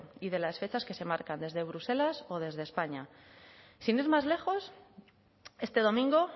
y de las fechas que se marcan desde bruselas o desde españa sin ir más lejos este domingo